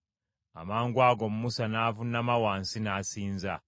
Amangwago Musa n’avuunama wansi, n’asinza.